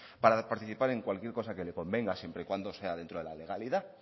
para participar en cualquier cosa que le convenga siempre y cuando sea dentro de la legalidad